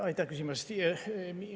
Aitäh küsimuse eest!